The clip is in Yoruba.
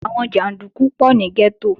Àwọn jàndúkú pọ̀ ní gẹ́tò